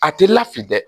A ti lafili dɛ